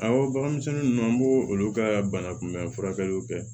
Awɔ bagan misɛnnin nunnu an b'o olu ka bana kunbɛn furakɛliw kɛ